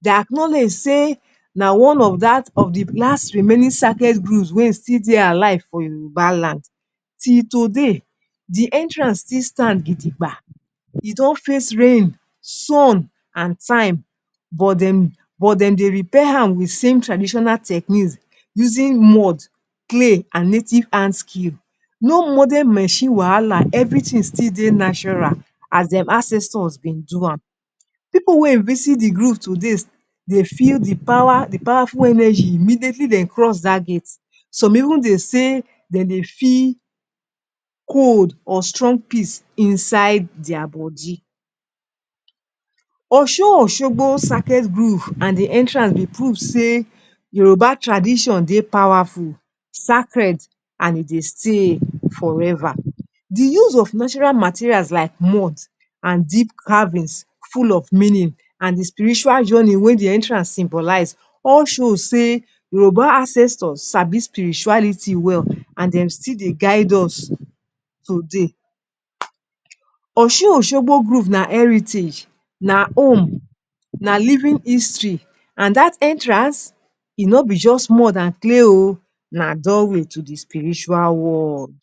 Dey acknowledge say na one of dat, of di last remaining sacred groves wey still dey alive for Yoruba land. Till today, Di entrance still stand gidigba. E don face rain, sun and time, but dem de repair am wit same traditional techniques using mud, clay and native hand skill. No modern machine wahala. evritin still dey natural as dem ancestors been do am. Pipu wey visit di grove to date, de feel Di power, Di powerful energy immediately de cross dat gate. Some even dey say, dem dey feel cold or strong peace inside dia body. Osun-Oshogbo Sacred Grove and Di entrance be proof say Yoruba tradition dey powerful, sacred and e dey stay forever. Di use of natural materials like mud and deep carvings full of meaning, and Di spiritual journey wey Di entrance symbolize all show say Yoruba ancestors sabi spirituality well and dem still dey guide us today. Osun-Oshogbo Grove na heritage, na home, na living history. And dat entrance, e no be just more than clay oh, na doorway to Di spiritual world.